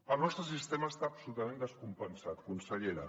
el nostre sistema està absolutament descompensat consellera